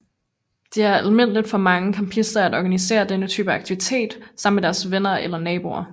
Det er almindeligt for mange campister at organisere denne type aktivitet sammen med deres venner eller naboer